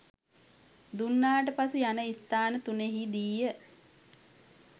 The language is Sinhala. දුන්නාට පසු යන ස්ථාන තුනෙහිදීය.